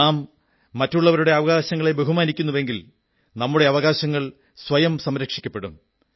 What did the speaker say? നാം മറ്റുള്ളവരുടെ അവകാശങ്ങളെ ബഹുമാനിക്കുന്നെങ്കിൽ നമ്മുടെ അവകാശങ്ങൾ സ്വയം സംരക്ഷിക്കപ്പെടും